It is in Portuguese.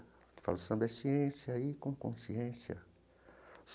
Ele fala, o samba é ciência e com consciência.